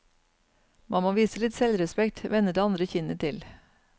Man må vise litt selvrespekt, vende det andre kinnet til.